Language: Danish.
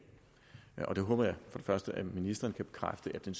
der håber jeg for første at ministeren kan bekræfte at den